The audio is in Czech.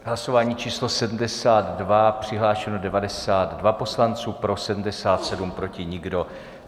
Hlasování číslo 72, přihlášeno 92 poslanců, pro 77, proti nikdo.